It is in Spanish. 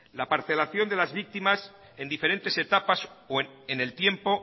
la parcelación de las víctimas en diferentes etapas en el tiempo